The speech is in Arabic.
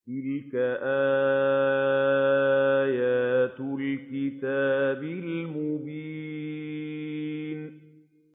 تِلْكَ آيَاتُ الْكِتَابِ الْمُبِينِ